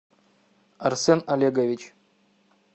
арсен олегович